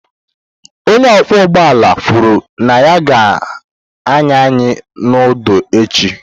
Onye ọkwọ ụgbọala kwuru na ya ga-anya anyị n'udo echi.